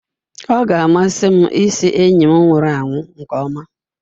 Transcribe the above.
Ọ ga-amasị m ịsị enyi nwụrụ anwụ nke ọma.